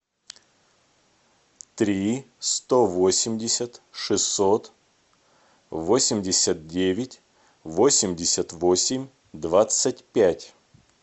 три сто восемьдесят шестьсот восемьдесят девять восемьдесят восемь двадцать пять